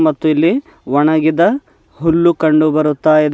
ಮತ್ತು ಇಲ್ಲಿ ಒಣಗಿದ ಹುಲ್ಲು ಕಂಡು ಬರುತ್ತಾ ಇದೆ.